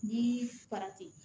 Ni